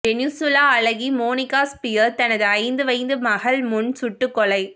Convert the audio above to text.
Venezuela அழகி Monica Spear தனது ஐந்து வயது மகள் முன் சுட்டு கொலை